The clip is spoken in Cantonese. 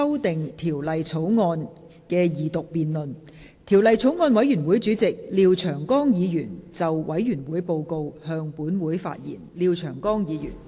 代理主席，本人謹以《2016年仲裁條例草案》委員會主席的身份，匯報法案委員會的審議工作。